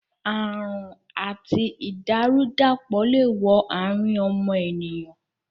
Àrùn àti ìdàrú-dàpọ̀ le wo àrín ọmọnìyàn